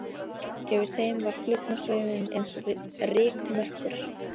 Yfir þeim var flugnasveimurinn eins og rykmökkur.